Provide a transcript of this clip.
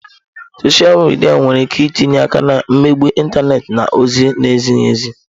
Sọsha midia nwere ike itinye aka na mmegbu ịntanetị na ozi na-ezighi ezi.